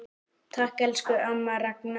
Takk, elsku amma Ragna.